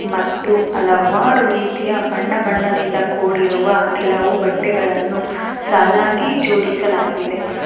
ಮತ್ತು ಹಲವಾರು ರೀತಿಯ ಬಣ್ಣ ಬಣ್ಣದಿಂದ ಕೂಡಿರುವ ಕೆಲವು ಬಟ್ಟೆಗಳನ್ನು ಸಾಲಾಗಿ ಜೋಡಿಸಲಾಗಿದೆ.